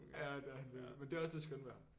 Ja det er han virkelig men det er også det skønne ved ham